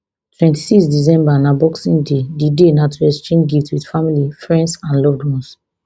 twenty-six december na boxing day di day na to exchange gift wit family friends and loved ones